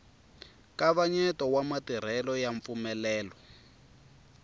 nkavanyeto wa matirhelo ya mpfumelelo